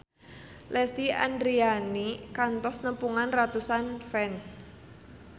Lesti Andryani kantos nepungan ratusan fans